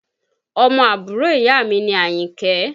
Ọmọ àbúrò ìyá à mi ni Àyìnkẹ́